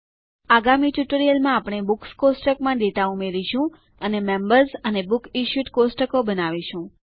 આગામી ટ્યુટોરીયલમાં આપણે બુક્સ કોષ્ટકમાં ડેટા ઉમેરીશું અને મેમ્બર્સ અને બુકસિશ્યુડ કોષ્ટકો બનાવીશું